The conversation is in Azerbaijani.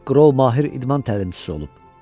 Makrol mahir idman təlimçisi olub.